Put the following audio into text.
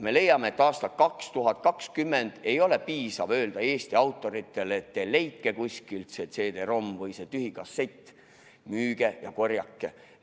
Me leiame, et aastal 2020 ei ole piisav, kui me ütleme Eesti autoritele, et leidke kuskilt see CD-ROM või tühi kassett, müüge ja korjake.